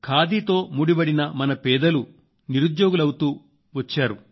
ఖాతీతో ముడివడిన మన పేదలు నిరుద్యోగులవుతూ వచ్చారు